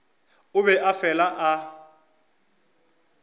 o be a fela a